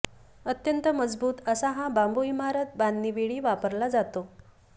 अत्यंत मजबूत असा हा बांबू इमारत बांधणीवेळी वापरला जातो